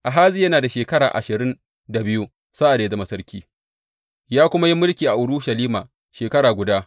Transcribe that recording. Ahaziya yana da shekara ashirin da biyu sa’ad da ya zama sarki, ya kuma yi mulki a Urushalima shekara guda.